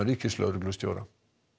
ríkislögreglustjóra